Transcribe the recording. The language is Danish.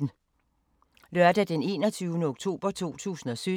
Lørdag d. 21. oktober 2017